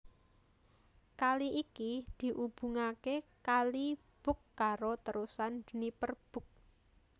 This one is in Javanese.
Kali iki diubungaké Kali Bug karo Terusan Dniper Bug